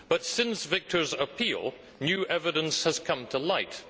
However, since Viktor's appeal, new evidence has come to light